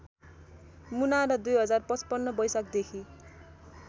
मुना र २०५५ बैशाखदेखि